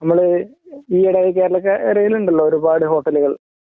നമ്മള് ഈയ്യിടെ കേരളക്കരയില് ഉണ്ടല്ലോ ഒരുപാട് ഹോട്ടലുകൾ